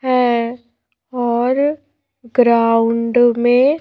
है और ग्राउंड में--